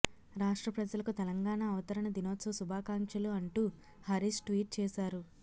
రాష్ట్ర ప్రజలకు తెలంగాణ అవతరణ దినోత్సవ శుభాకాంక్షలు అంటూ హరీష్ ట్వీట్ చేశారు